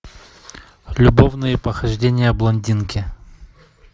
любовные похождения блондинки